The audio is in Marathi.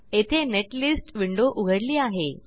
येथे नेटलिस्ट विंडो उघडली आहे